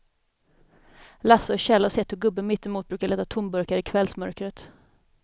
Lasse och Kjell har sett hur gubben mittemot brukar leta tomburkar i kvällsmörkret.